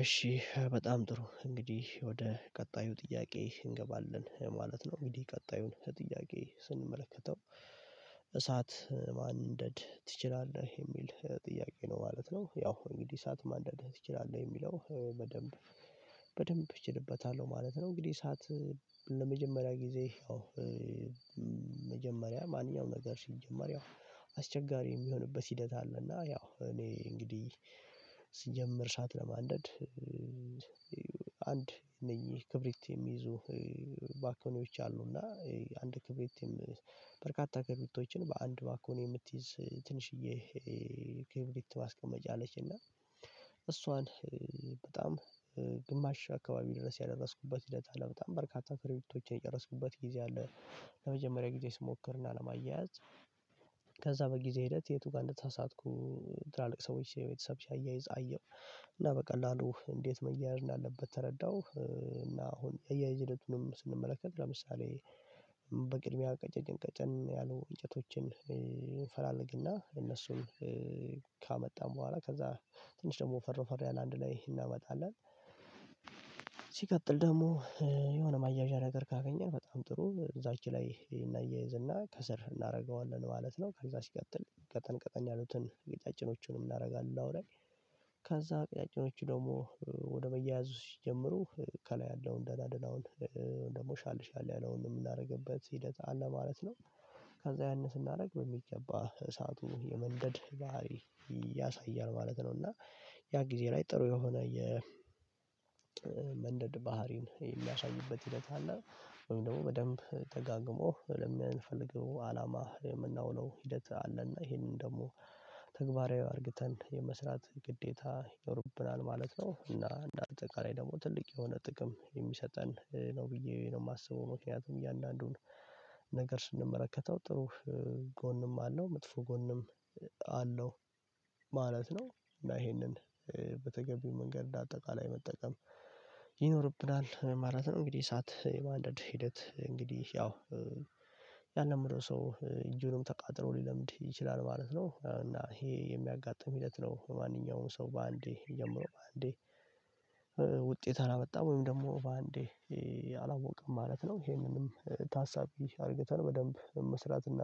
እሺ በጣም ጥሩ እንግዲህ ወደ ቀጣዩ ጥያቄ እንገባለን ማለት ነው። እንግዲህ ቀጣዩን ጥያቄ ስንመለከተው እሳት ማንንደድ ትችላለህ የሚል ጥያቄ ነው ማለት ነው? ያው እንግዲህ እሳት ማንደድ ትችላለህ የሚለው በደንብ በደንብ እችልበታለሁ ማለት ነው። እንግዲህ እሳት ለመጀመሪያ ጊዜ ያው መጀመሪያ ማንኛውም ነገር ሲጀመር ያው አስቸጋሪ የሚሆንበት ሂደት አለ። እና ያው እኔ እንግዲህ ስጀምር እሳት ለማንደድ አንድ እነኚህ ክብሪት የሚይዙ ባኮኒዎች አሉና አንድ ክብሪት በርካታ ክብሪቶችን በአንድ ባኮኒ የምትይዝ ትንሽዬ ክብሪት ማስቀመጫ አለችና እሷን በጣም ግማሽ አካባቢ ድረስ ያደረስኩበት ሂደት አለ በጣም በርካታ ክርቢቶችን የጨረስኩበት ጊዜ አለ። ለመጀመሪያ ጊዜ ስሞክርና ለማያያዝ ከዛ በጊዜ ሂደት የቱ ጋር እንደተሳሳትኩም ትላልቅ ሰዎች የ ቤተሰብ ሲያይዝ አየሁ እና በቀላሉ እንዴት መያያዝ እንዳለበት ተረዳሁ። እና አሁን የአያይዝ ሂደቱንም ስንመለከት ለምሳሌ በቅድሚያ ቀጨን ቀጨን ያሉ እንጨቶችን እንፈላለግና እነሱን ካመጣን በኋላ ከዛ ትንሽ ደግሞ ወፈር ወፈር ያለ አንድ ላይ እናመጣለን። ሲቀጥል ደግሞ የሆነ ማያዣ ነገር ካገኘን በጣም ጥሩ እዛች ላይ እናያይዝና ከስር እናደርገዋለን ማለት ነው። ከዛ ሲቀጥል ቀጠን ቀጠን ያሉትን ቀጫጭኖቹንም እናደርጋለን አውራይ ከዛ ቀጫጭኖቹ ደግሞ ወደ መያያዙ ሲጀምሩ ከላይ ያለውን ደህና ደህና ደህናውን ደግሞ ሻልሻል ያለውን የምናደርግበት ሂደት አለ ማለት ነው። ከዛ ያንን ስናደርግ በሚገባ እሳቱ የመንደድ ባህሪ ያሳያል ማለት ነው። እና ያ ጊዜ ላይ ጥሩ የሆነ የመንደድ ባህሪን የሚያሳይበት ሂደት አለ ወይም ደግሞ በደንብ ተጋግሞ ለምንፈልገው አላማ የምናውለው ሂደት አለና ይሄንን ደግሞ ተግባራዊ አርግተን የመስራት ግዴታ ይኖርብናል ማለት ነው። እና እንደ አጠቃላይ ደግሞ ትልቅ የሆነ ጥቅም የሚሰጠን ነው ብዬ ነው የማስበው ምክንያቱም እያንዳንዱን ነገር ስንመለከተው ጥሩ ጎንም አለው መጥፎ ጎንም አለው ማለት ነው። እና ይሄንን በተገቢው መንገድ እንደ አጠቃላይ መጠቀም ይኖርብናል ማለት ነው። እንግዲህ እሳት የማንደድ ሂደት እንግዲህ ያው ያለመደው ሰው እጁንም ተቃጥሎ ሊለምድ ይችላል ማለት ነው። እና ይሄ የሚያጋጥም ሂደት ነው ማንኛውንም ሰው በአንዴ ጀምረው በአንዴ ውጤት አላመጣም ወይም ደግሞ በአንዴ አላወቀም ማለት ነው። ይሄንንም ታሳቢ አድርገተን በደንብ መስራት እና